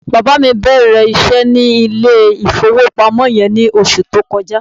Bàbá mi bẹ̀rẹ̀ iṣẹ́ ní ilé-ìfowópamọ́ yẹn ní oṣù tó kọjá.